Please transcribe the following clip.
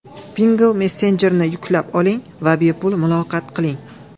Pinngle messenjerini yuklab oling va bepul muloqot qiling!.